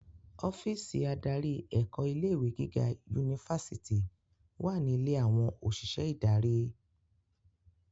Ọ́físì adarí ẹ̀kọ́ ilé ìwé gíga yunifásítì wà ní ilé àwọn òṣìṣẹ́ ìdarí.